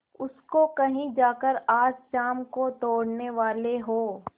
उसको कहीं जाकर आज शाम को तोड़ने वाले हों